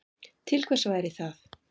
Til hvers væri það?